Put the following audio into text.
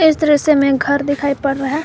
इस दृश्य में घर दिखाई पड़ रहा है।